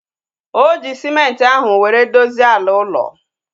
O ji sịmenti ahu were dozie ala ụlọ